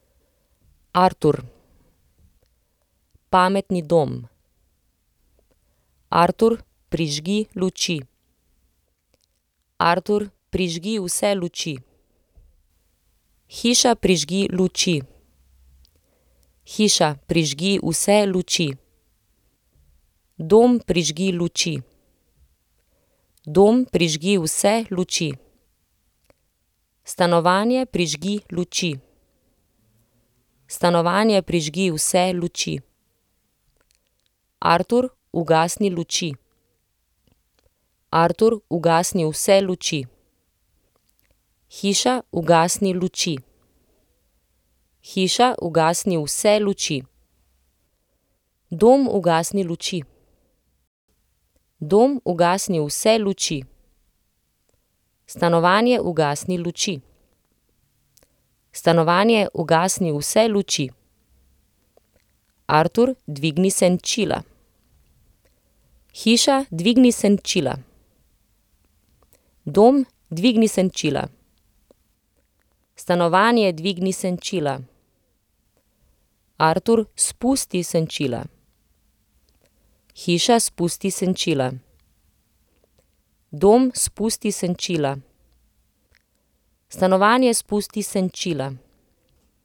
Artur. Pametni dom. Artur, prižgi luči. Artur, prižgi vse luči. Hiša, prižgi luči. Hiša, prižgi vse luči. Dom, prižgi luči. Dom, prižgi vse luči. Stanovanje, prižgi luči. Stanovanje, prižgi vse luči. Artur, ugasni luči. Artur, ugasni vse luči. Hiša, ugasni luči. Hiša, ugasni vse luči. Dom, ugasni luči. Dom, ugasni vse luči. Stanovanje, ugasni luči. Stanovanje, ugasni vse luči. Artur, dvigni senčila. Hiša, dvigni senčila. Dom, dvigni senčila. Stanovanje, dvigni senčila. Artur, spusti senčila. Hiša, spusti senčila. Dom, spusti senčila. Stanovanje, spusti senčila.